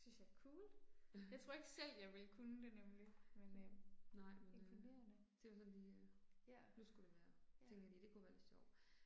Det synes jeg er coolt. Jeg tror ikke selv jeg ville kunne det nemlig. Men øh imponerende. Ja. Ja